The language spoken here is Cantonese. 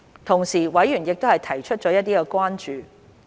同時，委員提出了一些關注。